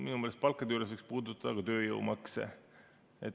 Minu meelest palkade juures võiks puudutada ka tööjõumakse.